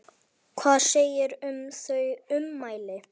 Hvað segirðu um þau ummæli?